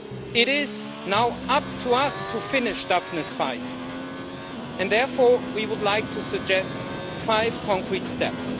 It is now up to us to finish Daphne's fight, and therefore we would like to suggest five concrete steps.